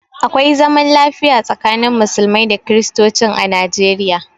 Akwai zaman lafiya tsakanin musulmai da kristocin a Nijeriya.